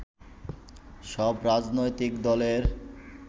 সব রাজনৈতিক দলের